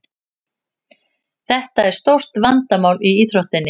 Þetta er stórt vandamál í íþróttinni.